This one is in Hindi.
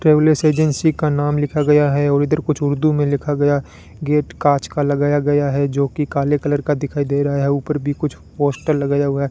ट्रेवल्स एजेंसी का नाम लिखा गया है और इधर कुछ उर्दू में लिखा गया गेट कांच का लगाया गया है जो कि काले कलर का दिखाई दे रहा है ऊपर भी कुछ पोस्टर लगाया हुआ है।